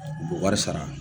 u bɛ wari sara